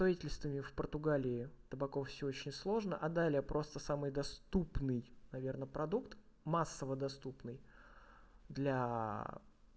строительствами в португалии табаков всё очень сложно а далее просто самый доступный наверное продукт массово доступный для